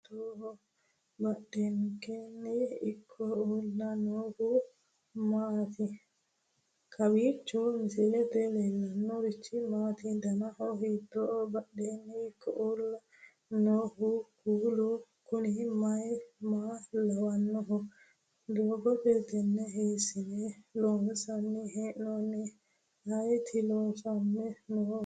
kowiicho misilete leellanorichi maati ? dana hiittooho ?badhhenni ikko uulla noohu kuulu kuni maa lawannoho? doogo tenne hiissine loonsanni hee'noonni ayeti loosanni noohu kaamelu mayinniho uurrinohu